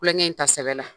Kulonkɛ in ta sɛbɛn la